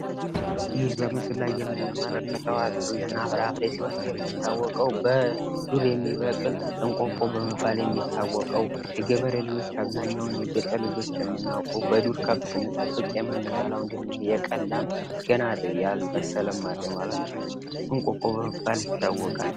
ይህ በምስሉ ላይ የምንመለከተው አትክልትና ፍራፍሬ ሲሆን፤ የሚታወቀው በዱር የሚመቅል እቆቆ በመባል የሚታወቀው የገበሬ ልጆች አብዛኛውን የገጠር ልጆች የምናውቀው በዱር ከብት ስንጥብቅ የምንበላው የቀን ላም ገና ያልበሰለም አለ ማለት ነው። እቆቆ በመባል ይታወቃል።